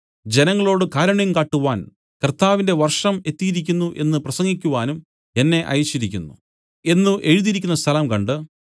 ജനങ്ങളോട് കാരുണ്യം കാട്ടുവാൻ കർത്താവിന്റെ വർഷം എത്തിയിരിക്കുന്നു എന്നു പ്രസംഗിക്കുവാനും എന്നെ അയച്ചിരിക്കുന്നു എന്നു എഴുതിയിരിക്കുന്ന സ്ഥലം കണ്ട്